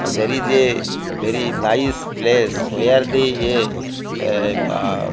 there is a very nice place where the a yeh ba --